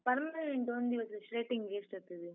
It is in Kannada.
Permanent ಒಂದಿವಸ straightening ಎಷ್ಟಾಗ್ತದೆ?